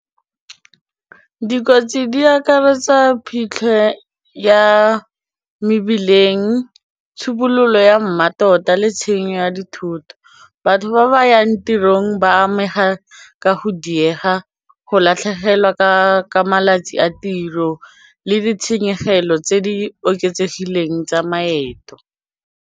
Dikotsi di akaretsa phitlho ya mebileng, tshobololo ya mmatota le tshenyo ya dithoto, batho ba ba yang yang tirong ba amega ka go diega, go latlhegelwa ka malatsi a tiro le ditshenyegelo tse di oketsegileng tsa maeto.